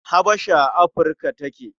Habasha a Afirka take.